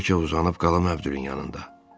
Bəlkə uzanıb qalım Əbdülün yanında.